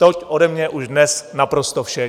Toť ode mě už dnes naprosto vše.